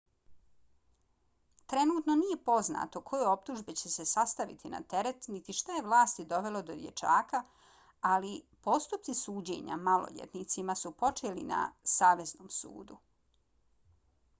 trenutno nije poznato koje optužbe će se staviti na teret niti šta je vlasti dovelo do dječaka ali postupci suđenja maloljetnicima su počeli na saveznom sudu